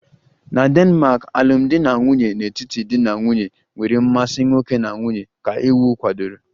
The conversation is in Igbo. Na Denmark alụmdi na nwunye n'etiti di na nwunye nwere mmasị nwoke na nwanyị ka iwu kwadoro